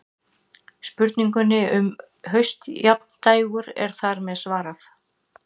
Spurningunni um haustjafndægur er þar með svarað.